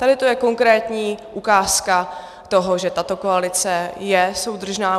Tady to je konkrétní ukázka toho, že tato koalice je soudržná.